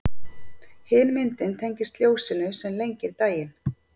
Hin myndin tengist ljósinu sem lengir daginn.